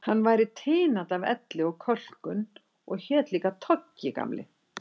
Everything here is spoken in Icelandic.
Hann var tinandi af elli og kölkun og hét líka Toggi, Gamli